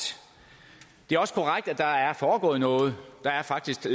det er også korrekt at der er foregået noget der er faktisk